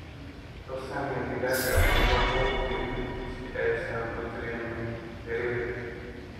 U samee digaaga xiiro buuq jiriin si aysan u dareemin ciriiri.